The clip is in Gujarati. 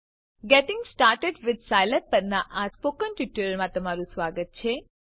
ગેટિંગ સ્ટાર્ટેડ વિથ સ્કિલાબ પરનાં સ્પોકન ટ્યુટોરીયલમાં સ્વાગત છે